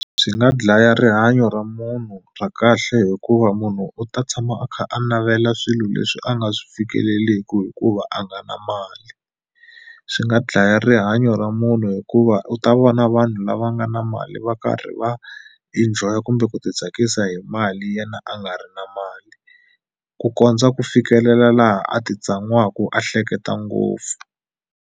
Swi nga dlaya rihanyo ra munhu ra kahle hikuva munhu u ta tshama a kha a navela swilo leswi a nga swi fikeleleku hikuva a nga na mali swi nga dlaya rihanyo ra munhu hikuva u ta vona vanhu lava nga na mali va karhi va enjoy-a kumbe ku ti tsakisa hi mali yena a nga ri na mali ku kondza ku fikelela laha a ti tsan'waku a hleketa ngopfu.